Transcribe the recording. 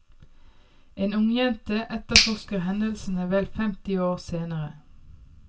En ungjente etterforsker hendelsene vel femti år senere.